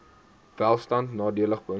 welstand nadelig beïnvloed